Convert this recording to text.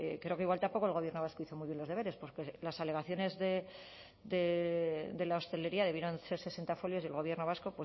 creo que igual tampoco el gobierno vasco hizo muy bien los deberes porque las alegaciones de la hostelería debieron ser sesenta folios y el gobierno vasco